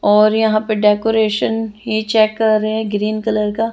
और यहाँ पे डेकोरेशन ही चेक कर रहे है ग्रीन कलर का--